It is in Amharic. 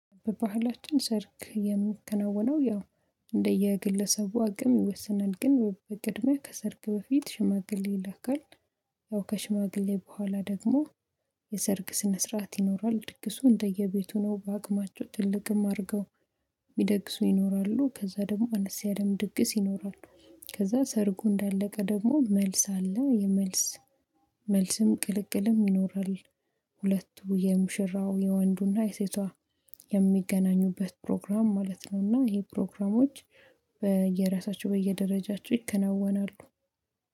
በባህላችን ሰርግ የሚከናወነው ያው እንደየግለሰቡ አቅም ይወስናል ግን በቅድመ ከሰርግ በፊት ሽማግሌ ይላካል። ያው ከሽማግሌ በኋላ ደግሞ የሰርግ ስነ ስርዓት ይኖራል። ድግሱ እንደየቤቱ ነው በአቅማቸው ትልቅም አድርገው ይደግሱ ይኖራሉ። ከዛ ደግሞ አነስ ያለም ድግስ ይኖራሉ። ከዛ ሰርጉ እንዳለቀ ደግሞ መልስ አለ የመልስ መልስም ቅልቅልም ይኖራል። ሁለቱ የሙሽራው የወንዱና የሴቷ የሚገናኙበት ፕሮግራም ማለት ነው። እና ይሄ ፕሮግራሞች በየራሳቸው በየደረጃቸው ይከነወናሉ።